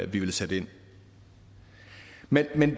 vi vil sætte ind men